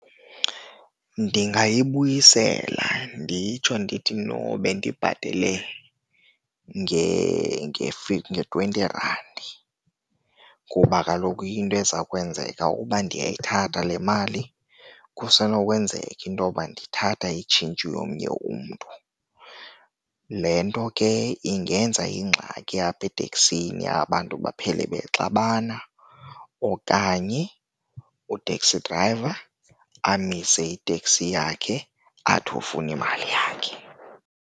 Ndingayibuyisela nditsho ndithi, no bendibhatele nge-twenty rand. Kuba kaloku into eza kwenzeka uba ndiyayithatha le mali, kusenokwenzeka intoba ndithatha itshintshi yomnye umntu. Le nto ke ingenza ingxaki apha eteksini, abantu baphele bexabana okanye u-taxi driver amise iteksi yakhe, athi ufuna imali yakhe.